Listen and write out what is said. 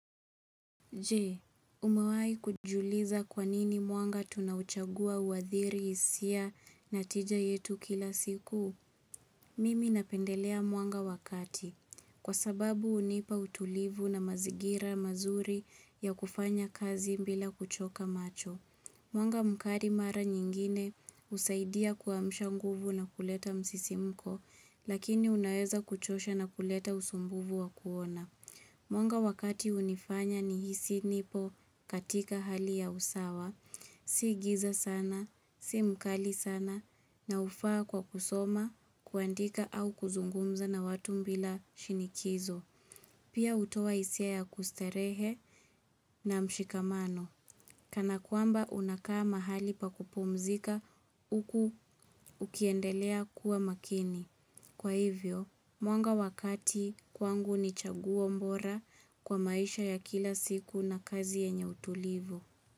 Je, umawahi kujiuliza kwanini mwanga tunauchagua huadhiri hisia na tija yetu kila siku? Mimi napendelea mwanga wakati, kwa sababu hunipa utulivu na mazingira mazuri ya kufanya kazi bila kuchoka macho. Mwanga mkali mara nyingine husaidia kuamsha nguvu na kuleta msisimko, lakini unaeza kuchosha na kuleta usumbufu wakuona. Mwanga wakati hunifanya nihisi nipo katika hali ya usawa, si giza sana, si mkali sana, na hufaa kwa kusoma, kuandika au kuzungumza na watu bila shinikizo. Pia hutoa hisia ya kustarehe na mshikamano. Kana kwamba unakaa mahali pa kupumzika, huku ukiendelea kua makini. Kwa hivyo, mwanga wakati kwangu ni chaguo bora kwa maisha ya kila siku na kazi yanye utulivu.